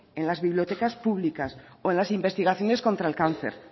en las bibliotecas públicas o en las investigaciones contra el cáncer